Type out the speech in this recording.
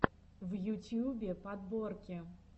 в ютьюбе подборки